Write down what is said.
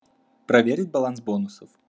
проверить баланс бонусов